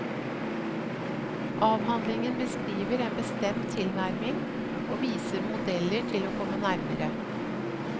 Avhandlingen beskriver en bestemt tilnærming, og viser modeller til å komme nærmere.